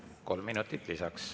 Kolm minutit lisaks.